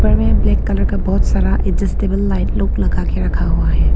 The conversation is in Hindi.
ऊपर में ब्लैक कलर का बहुत सारा एडजेस्टेबल लाईट लोग लगा के रखा हुआ है।